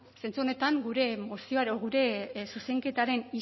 zentzu honetan gure zuzenketaren